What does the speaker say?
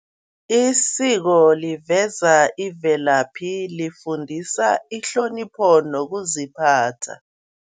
Isiko liveza imvelaphi, lifundisa ihlonipho nokuziphatha.